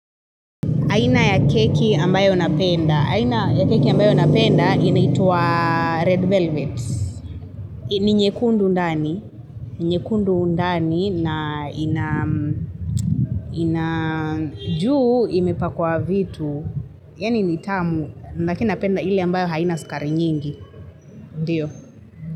Aina ya keki ambayo unapenda. Aina ya keki ambayo napenda inaitwa red velvet. Ni nyekundu ndani. Nyekundu undani na ina ina juu imepakwa vitu. Yaani ni tamu. Lakini napenda ile ambayo haina sukari nyingi. Ndiyo.